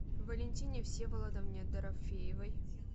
валентине всеволодовне дорофеевой